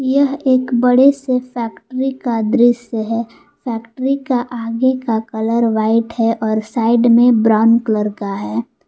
यह एक बड़े से फैक्ट्री का दृश्य है फैक्ट्री का आगे का कलर व्हाइट है और साइड में ब्राउन कलर का है।